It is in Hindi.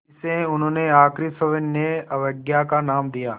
इसे उन्होंने आख़िरी सविनय अवज्ञा का नाम दिया